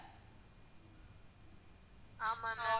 ஆமா ma'am